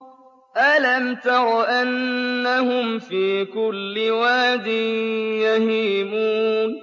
أَلَمْ تَرَ أَنَّهُمْ فِي كُلِّ وَادٍ يَهِيمُونَ